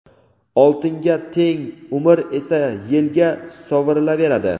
oltinga teng umr esa yelga sovurilaveradi.